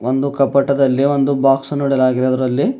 ಒಂದು ಕಪ್ಪಟದಲ್ಲಿ ಒಂದು ಬಾಕ್ಸ್ ಅನ್ನು ಇಡಲಾಗಿದೆ ಅದರಲ್ಲಿ--